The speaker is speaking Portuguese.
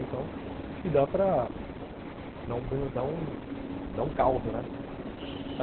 Então, acho que dá para dar dar dar um caldo, né? Uhum